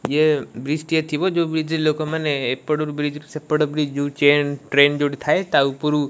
ୟେ ବ୍ରିଜ଼ ଟିଏ ଥିବା ଯୋଉ ବ୍ରିଜ଼ ଲୋକମାନେ ଏପଟୁରୁ ବ୍ରିଜ଼ ରୁ ସେପଟ ବ୍ରିଜ଼ ଯୋଉ ଚେନ ଟ୍ରେନ ଯୋଉଠି ଥାଏ ତା ଉପରୁକୁ --